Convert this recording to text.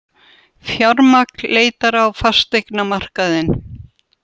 Fjármagn leitar á fasteignamarkaðinn